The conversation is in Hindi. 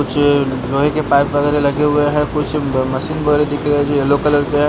कुछ लोहे के पाइप वगैरह लगे हुए हैं कुछ ब मशीन वगैरह दिख रहे हैं जो येलो कलर के हैं।